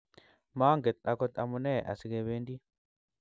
manget akot amune asikebendi